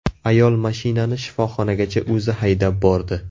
Ayol mashinani shifoxonagacha o‘zi haydab bordi.